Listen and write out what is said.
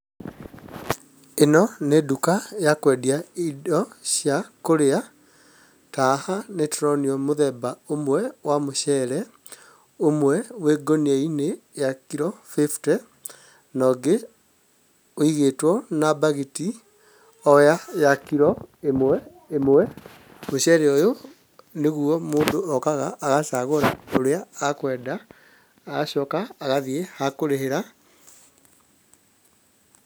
Ĩno nĩ nduka ya kwendia indo cia kũrĩa, ta haha nĩtũronio mũthemba ũmwe wa mũcere, ũmwe wĩ ngunia-inĩ ya kiro bĩbte, na ũngĩ ũigĩtwo na bagiti oya ya kiro ĩmwe ĩmwe. Mũcere ũyũ nĩguo mũndũ okaga agacagũra ũrĩa akwenda agacoka agathiĩ hakũrĩhĩra.